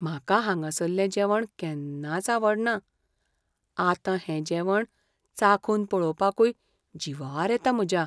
म्हाका हांगासल्ले जेवण केन्नाच आवडना, आतां हें जेवण चाखून पळोवपाकूय जीवार येता म्हज्या.